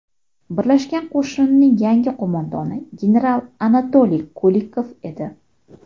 Birlashgan qo‘shinning yangi qo‘mondoni general Anatoliy Kulikov edi.